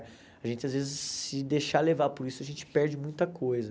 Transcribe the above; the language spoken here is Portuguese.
A gente, às vezes, se deixar levar por isso, a gente perde muita coisa.